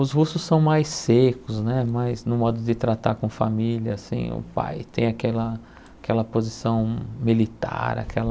Os russos são mais secos né, mais no modo de tratar com família, assim, o pai tem aquela aquela posição militar, aquela...